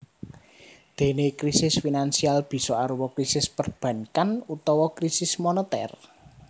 Déné krisis finansial bisa arupa krisis perbankan utawa krisis monetèr